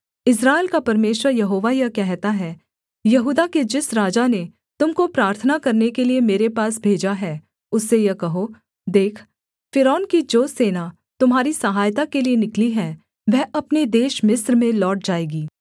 इस्राएल का परमेश्वर यहोवा यह कहता है यहूदा के जिस राजा ने तुम को प्रार्थना करने के लिये मेरे पास भेजा है उससे यह कहो देख फ़िरौन की जो सेना तुम्हारी सहायता के लिये निकली है वह अपने देश मिस्र में लौट जाएगी